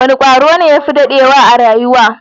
Wane kwaro ne ya fi dadewa a rayuwa?